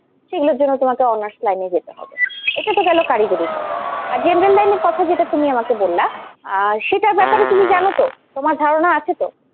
সেগুলোর জন্য তোমাকে honours line এ যেতে হবে এটা তো গেলো কারিগরির কথা, আর general line এর কথা যেটা তুমি আমাকে বললা আহ সেটার ব্যাপারে তুমি জানো তো? তোমার ধারণা আছে তো?